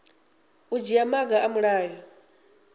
u dzhia maga a mulayo